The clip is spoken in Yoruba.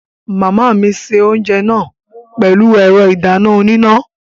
Màmá mi se oúnjẹ náà pẹ̀lú ẹ̀rọ ìdáná oníná